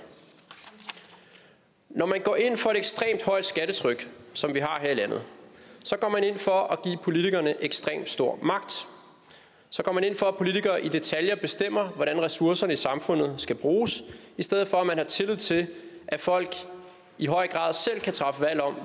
når man går ind for et ekstremt højt skattetryk som vi har her i landet så går man ind for at give politikerne ekstremt stor magt så går man ind for at politikere i detaljer bestemmer hvordan ressourcerne i samfundet skal bruges i stedet for at have tillid til at folk i høj grad selv kan træffe valg om